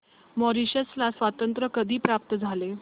Mauritius ला स्वातंत्र्य कधी प्राप्त झाले